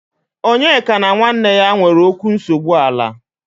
Onyeka na nwanne ya nwere okwu nsogbu ala.